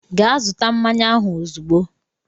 Gaa zụta mmanya ahụ ozugbo!